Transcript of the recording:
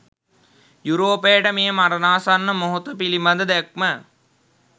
යුරෝපයට මේ මරණාසන්න මොහොත පිළිබඳ දැක්ම